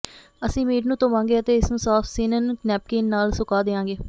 ਅਸੀਂ ਮੀਟ ਨੂੰ ਧੋਵਾਂਗੇ ਅਤੇ ਇਸ ਨੂੰ ਸਾਫ ਸਿਨਨ ਨੈਪਿਨ ਨਾਲ ਸੁਕਾ ਦਿਆਂਗੇ